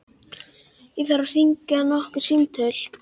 Ég þarf að hringja nokkur símtöl.